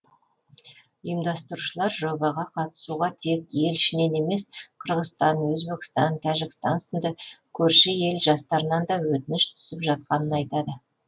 ұйымдастырушылар жобаға қатысуға тек ел ішінен емес қырғызстан өзбекстан тәжікстан сынды көрші ел жастарынан да өтініш түсіп жатқанын айтады